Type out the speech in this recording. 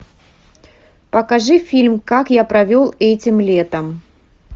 покажи фильм как я провел этим летом